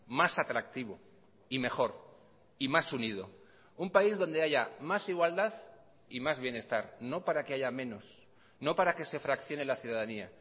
más atractivo y mejor y más unido un país donde haya más igualdad y más bienestar no para que haya menos no para que se fraccione la ciudadanía